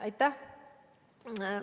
Aitäh!